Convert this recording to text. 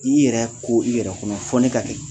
I yɛrɛ ko i yɛrɛkɔnɔ fɔ ne ka kɛ